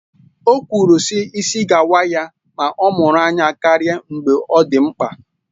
O kwuru na ịsị ga-awa ya ma ọ mụrụ anya karịa mgbe ọ dị mkpa